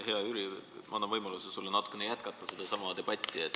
Hea Jüri, ma annan sulle võimaluse sedasama debatti natukene jätkata.